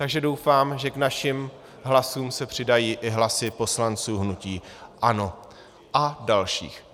Takže doufám, že k našim hlasům se přidají i hlasy poslanců hnutí ANO a dalších.